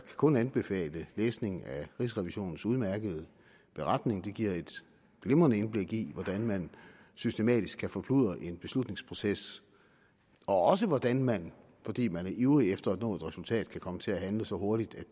kun anbefale læsning af rigsrevisionens udmærkede beretning den giver et glimrende indblik i hvordan man systematisk kan forkludre en beslutningsproces og også hvordan man fordi man er ivrig efter at nå et resultat kan komme til at handle så hurtigt